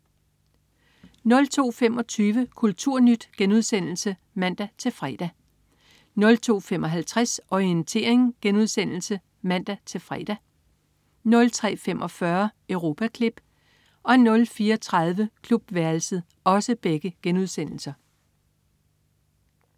02.25 Kulturnyt* (man-fre) 02.55 Orientering* (man-fre) 03.45 Europaklip* 04.30 Klubværelset*